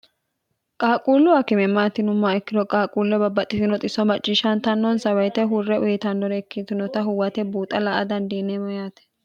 qaaquulluwa kimemmaatinumma ikkino qaaquullo babbaxxitinoxisso macciishshaantannoonsawayite hurre uyitannore ikkitinota huwate buuxa la a dandiineemo yaate